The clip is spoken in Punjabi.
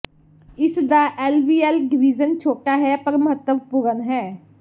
ਇਸ ਦਾ ਐਲਵੀਐਲ ਡਿਵੀਜ਼ਨ ਛੋਟਾ ਹੈ ਪਰ ਮਹੱਤਵਪੂਰਣ ਹੈ